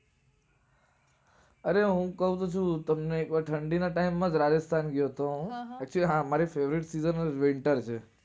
અરે હું શું કાવ છું તમને કે ઠંડી ના time માં જ રાજસ્થાન ગયો તો હું. પછી હા મારી favourite season winter છે.